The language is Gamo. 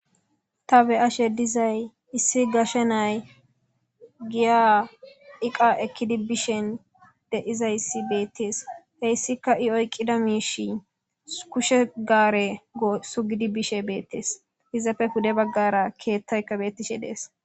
ta be ashe dizay issi gashe nay giya iqa ekkidi bishen deizayssi beettees heyssika i oyqida miishi kushe gaare sugidi bishe beettees izapfe hude baggara keettayka beettishe dees